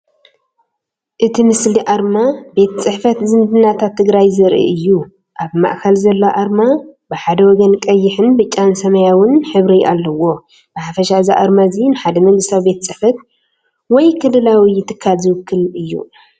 እቲ ምስሊ ኣርማ “ቤት ፅሕፈት ዝምድናታት ትግራይ” ዘርኢ እዩ። ኣብ ማእከል ዘሎ ኣርማ ብሓደ ወገን ቀይሕን ብጫን ሰማያውን ሕብሪ ኣለዎ። ብሓፈሻ እዚ ኣርማ እዚ ንሓደ መንግስታዊ ቤት ፅሕፈት ወይ ክልላዊ ትካል ዝውክል እዩ።